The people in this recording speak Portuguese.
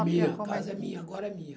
É minha, a casa é minha, agora é minha.